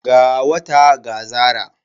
Ga wata ga zara.